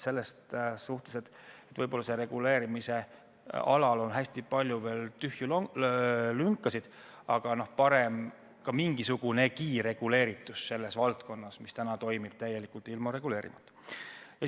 Sellel reguleerimisalal on veel hästi palju lünkasid, aga parem mingisugunegi reguleeritus valdkonnas, mis täna toimib täielikult ilma reguleerimata.